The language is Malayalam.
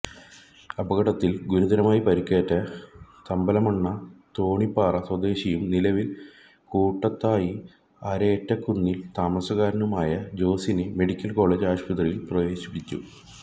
അപകടത്തിൽ ഗുരുതരമായി പരിക്കേറ്റ തമ്പലമണ്ണ തോണിപ്പാറ സ്വദേശിയും നിലവിൽ കൂടത്തായി അരേറ്റക്കുന്നിൽ താമസക്കാരനുമായ ജോസിനെ മെഡിക്കൽ കോളേജ് ആശുപത്രിയിൽ പ്രവേശിപ്പിച്ചു